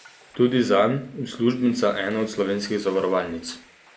Tudi zanj, uslužbenca ene do slovenskih zavarovalnic.